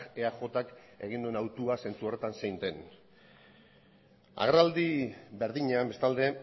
eajk egin duen autua zentzu horretan zein den agerraldi berdinean bestalde